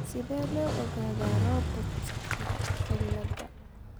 Sidee loo ogaadaa Robertska ciladha?